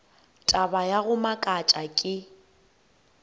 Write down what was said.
taba ya go makatša ke